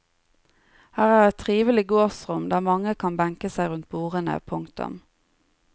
Her er et trivelig gårdsrom der mange kan benke seg rundt bordene. punktum